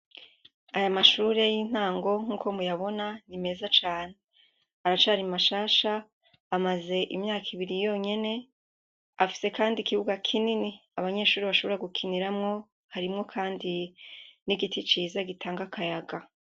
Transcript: Aya mashure y'intango nkuko muyabona, ni meza cane. Aracari mashasha amaze imyaka ibiri yonyene afise kandi ikibuga kinini abanyeshure bashobora gukiniramwo, harimwo kandi n'igiti ciza gitanga akayaga.